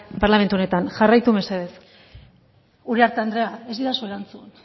parlamentu honetan jarraitu mesedez uriarte andrea ez didazu erantzun